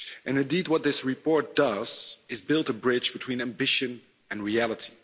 Indeed, what this report does is build a bridge between ambition and reality.